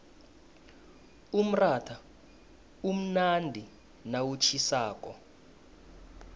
umratha umnandi nawutjhisako